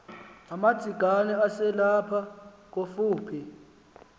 umadzikane eselapha kofuphi